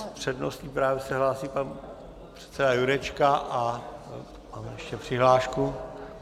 S přednostním právem se hlásí pan předseda Jurečka a máme ještě přihlášku.